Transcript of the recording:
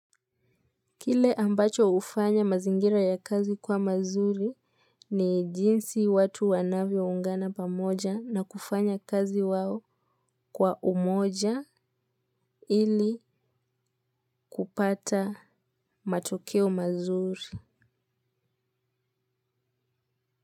Kile ambacho ufanya mazingira ya kazi kwa mazuri ni jinsi watu wanavyo ungana pamoja na kufanya kazi wao kwa umoja ili kupata matokeo mazuri.